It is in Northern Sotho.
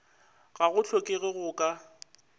ga go hlokege go ka